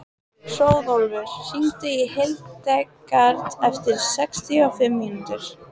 Hróðólfur, hringdu í Hildegard eftir sextíu og fimm mínútur.